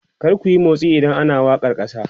kar kuyi motsi idan ana wakar kasa!